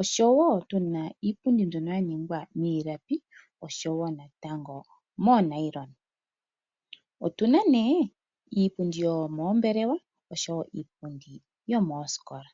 oshowo tu na iipundi mbyono ya ningwa miilapi, oshowo natango moonayilona. Otu na nduno iipundi yomoombelewa noshowo iipundi yomoositola.